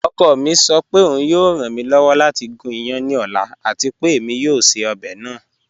Ọkọ mi sọ pé ọun yọọ ran mi lọ́wọ́ lati gún ìyán ní ọ̀la àti pé èmi yọọ ṣẹ̀ ọbẹ naa.